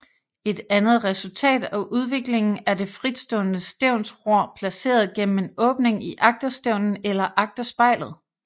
Et andet resultat af udviklingen er det fritstående stævnsror placeret gennem en åbning i agterstævnen eller agterspejlet